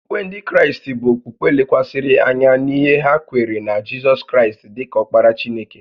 Okpukpe Ndị Kraịst bụ okpukpe lekwasịrị anya n’ihe ha kweere na Jizọs Kraịst dị ka Ọkpara Chineke